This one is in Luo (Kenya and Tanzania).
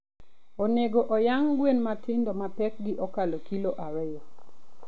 Onego oyang' gwen matindo ma pekgi okalo kilo ariyo.